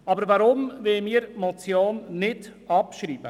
Weshalb wollen wir die Motion nicht abschreiben?